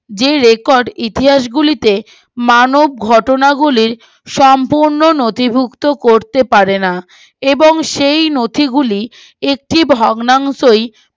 যে রেকর্ড ইতিহাস গুলিতে মানব ঘটনা গুলি সম্পূর্ণ নথিভুক্ত করতে পারে না এবং সেই নথিগুলো একটি ভগ্নাংশই বর্তমান দিনগুলি